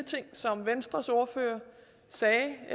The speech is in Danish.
ting som venstres ordfører sagde